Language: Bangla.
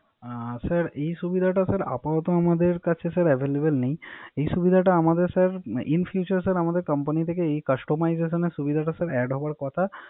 স্যার এসুবিধাটা অ আপাতত আমাদের কাছে স্যার Available নেই এই সুবিধাটা আমাদের স্যার In future আমাদের কোম্পানি থেকে এই Customization Add হবার কথ।